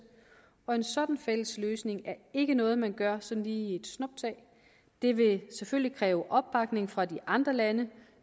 og en sådan fælles løsning er ikke noget man gør sådan lige i et snuptag det vil selvfølgelig kræve opbakning fra de andre lande